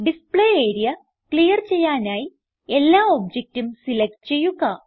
display area clear ചെയ്യാനായി എല്ലാ ഒബ്ജക്റ്റും സിലക്റ്റ് ചെയ്യുക